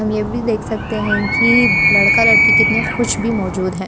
हम यह भी देख सकते हैं कि लड़का लड़की कितने खुश भी मौजूद है।